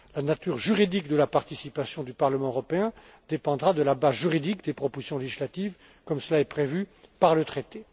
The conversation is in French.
La nature juridique de la participation du Parlement européen dépendra de la base juridique des propositions législatives, comme cela est prévu par le traité.